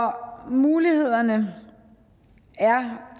mulighederne er